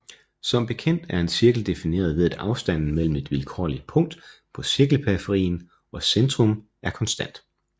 Som bekendt er en cirkel defineret ved at afstanden mellem et vilkårligt punkt på cirkelperiferien og centrum er konstant